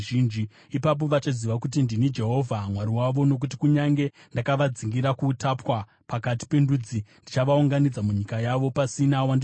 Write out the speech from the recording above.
Ipapo vachaziva kuti ndini Jehovha Mwari wavo, nokuti kunyange ndakavadzingira kuutapwa pakati pendudzi, ndichavaunganidza munyika yavo, pasina wandinosiya.